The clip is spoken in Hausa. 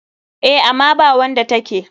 Eh, ama bawanda take.